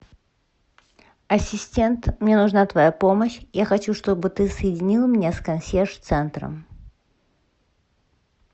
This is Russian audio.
асистент мне нужна твоя помощь я хочу чтобы ты соединил меня с консьерж центром